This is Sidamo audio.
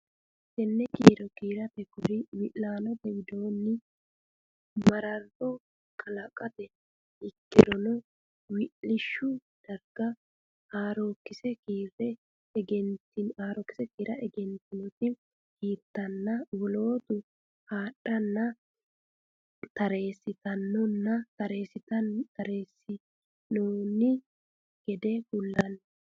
Tenne kiiro kiirate kori wi laanote wodani mararro kalaqate ikkirono wi lishshu darga haarookkise kiira egentinoti kiirtanna wolootu haadhanna tareessinoonni gede kullanni.